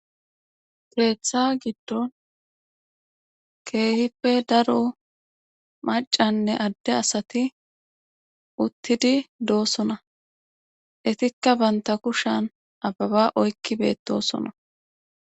peeththa giddon keehippe daro macanne adde asati uttidi doossona etikka banta kushan ababa oykki beettosona